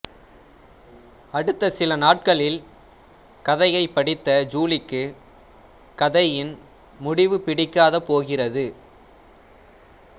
அடுத்த சில நாட்களில் கதையைப் படித்த ஜூலிக்கு கதையின் முடிவு பிடிக்காது போகிறது